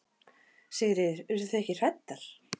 Sigríður: Urðu þið ekki hræddar?